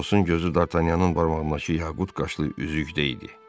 Atosun gözü Dartanyanın barmağındakı yaqut qaşlı üzükdə idi.